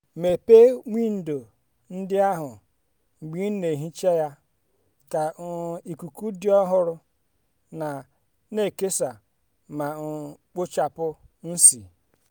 mepee windo ndị ahụ mgbe ị na-ehicha ya ka um ikuku dị ọhụrụ na-ekesa ma um kpochapụ ísì.